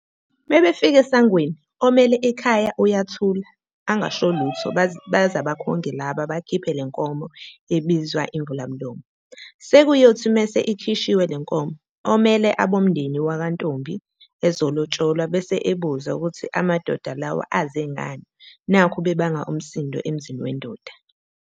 Mebefika esangweni, omele ikhaya uyathula angasholutho baze abakhongi laba bakhiphe lenkomo emizwa "Imvulamlomo". Sekuyothi mase ikhishiwe lenkomo, omele abomndeni wankwantombi ezolotsholwa bese ebuza ukuthi amadoda lawa ezengani nakhu bebanga umsindo emzini wendoda.